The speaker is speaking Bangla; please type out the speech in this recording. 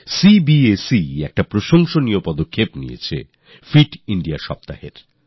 সিবিএসই একটি প্রশংসনীয় উদ্যোগ নিয়েছে ফিট Indiaসপ্তাহ পালন